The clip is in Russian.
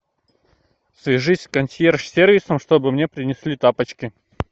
свяжись с консьерж сервисом чтобы мне принесли тапочки